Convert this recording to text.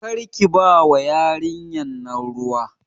Karki bawa yarinyan nan ruwa